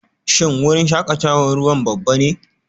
Shin wurin shakatawar ruwa babba ne?